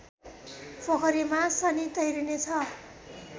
पोखरीमा शनि तैरने छ